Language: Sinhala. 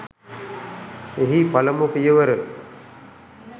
එහි පළමු පියවර